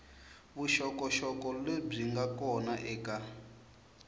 vuxokoxoko lebyi nga kona eka